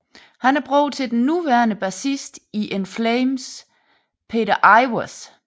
Han er bror til den nuværende bassist i In Flames Peter Iwers